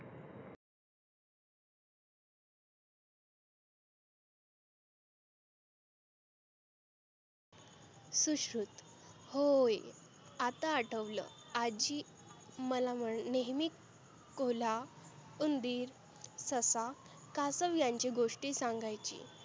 सुश्रुत होय आता आठवलं आजी मला व नेहमीच कोल्हा, उंदिर, ससा, कासव यांंची गोष्टी सांगायची.